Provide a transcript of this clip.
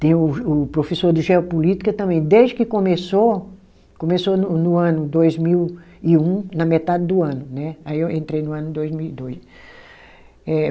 Tem o o professor de geopolítica também, desde que começou, começou no no ano dois mil e um, na metade do ano né, aí eu entrei no ano dois mil e dois. Eh